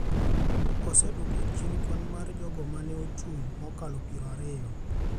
osedwoko chien kwan mar jogo ma ne ochung’ mokalo piero ariyo